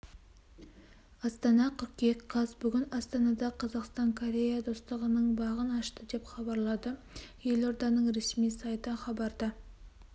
астана қыркүйек қаз бүгін астанада қазақстан корея достығының бағын ашты деп хабарлады елорданың ресми сайты хабарда